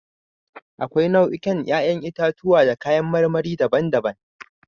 Akwai nau'ikan 'ƴa'ƴn itatuwa da kayan marmari daban-daban.